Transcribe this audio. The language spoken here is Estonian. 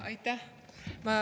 Aitäh!